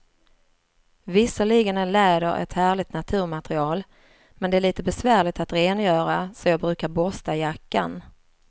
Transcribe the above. Visserligen är läder ett härligt naturmaterial, men det är lite besvärligt att rengöra, så jag brukar borsta jackan.